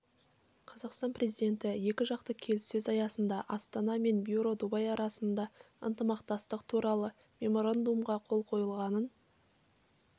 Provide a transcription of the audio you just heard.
қазақстан президенті екі жақты келіссөздер аясында астана мен бюро дубай арасында ынтымақтастық туралы меморандумға қол қойылғанын